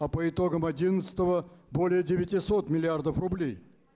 а по итогам одиннадцатого более девятисот миллиардов рублей